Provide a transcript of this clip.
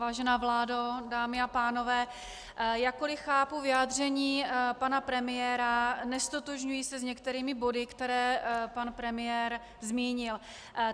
Vážená vládo, dámy a pánové, jakkoliv chápu vyjádření pana premiéra, neztotožňuji se s některými body, které pan premiér zmínil.